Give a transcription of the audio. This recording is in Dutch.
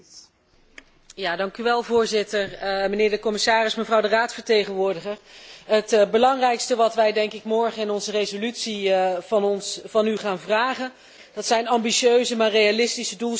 Voorzitter, meneer de commissaris, mevrouw de Raadsvertegenwoordiger, het belangrijkste wat wij morgen in onze resolutie van u gaan vragen, dat zijn ambitieuze, maar realistische doelstellingen in Nagoya.